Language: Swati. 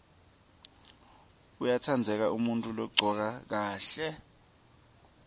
uyatsandzeka umuntfu logcoke kahle